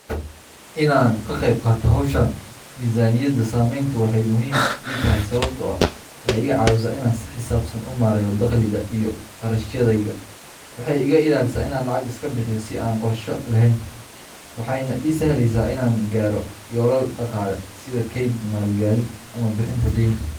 In aan ka qaybqaato hawshan miisaaniyadda samaynteedu waxay muhiim ii tahay sababtoo ah waxay iga caawisaa in aan si xisaabsan u maareeyo dakhligayga iyo kharashaadkayga. Waxay iga ilaalisaa in aan lacag iska bixiyo si aan qorshe lahayn, waxayna ii sahlaysaa in aan gaaro yoolal dhaqaale sida kayd, maalgelin, ama bixinta deynta.